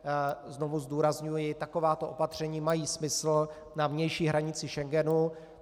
Znovu zdůrazňuji, takováto opatření mají smysl na vnější hranici Schengenu.